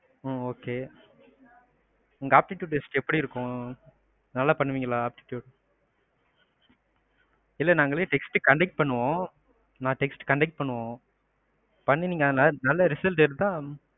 உம் okay. அங்க apptitute test எப்படி இருக்கும். நல்லா பண்ணுவிங்களா apptitute? இல்ல நாங்களே test conduct பண்ணுவோம், test conduct பண்ணுவோம் பண்ணி நல்ல result எடுத்தா,